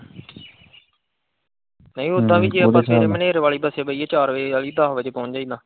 ਨਹੀਂ ਓਦਾ ਵੀ ਜੇ ਆਪਾਂ ਸਵੇਰੇ ਮਨੇਰ ਵਾਲੀ ਬਸੇ ਬਹਿਏ ਚਾਰ ਵਜੇ ਵਾਲੀ, ਦਸ ਵਜੇ ਪਹੁੰਚ ਜਾਈਦਾ।